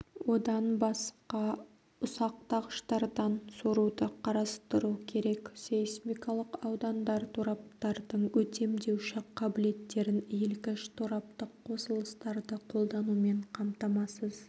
одан басқа ұсақтағыштардан соруды қарастыру керек сейсмикалық аудандар тораптардың өтемдеуші қабілеттерін иілгіш тораптық қосылыстарды қолданумен қамтамасыз